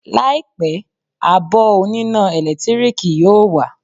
Láìpẹ́, abọ́ oníná ẹ̀lẹ́tíríkì yóò wà